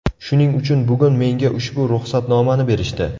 Shuning uchun bugun menga ushbu ruxsatnomani berishdi.